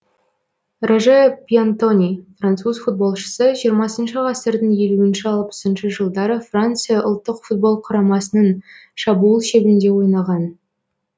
роже пьянтони француз футболшысы жиырмасыншы ғасырдың елу алпысыншы жылдары франция ұлттық футбол құрамасының шабуыл шебінде ойнаған